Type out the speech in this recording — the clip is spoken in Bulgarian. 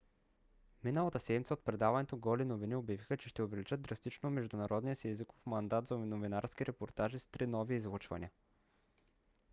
миналата седмица от предаването голи новини обявиха че ще увеличат драстично международния си езиков мандат за новинарски репортажи с три нови излъчвания